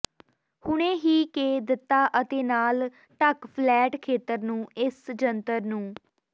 ਹੁਣੇ ਹੀ ਕੇ ਦਿੱਤਾ ਅਤੇ ਨਾਲ ਢਕ ਫਲੈਟ ਖੇਤਰ ਨੂੰ ਇਸ ਜੰਤਰ ਨੂੰ